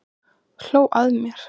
Hló að mér!